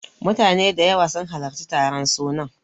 Mutane da yawa sun halarci taron sunan.